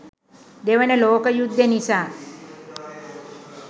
දෙවන ලෝක යුද්දෙ නිසා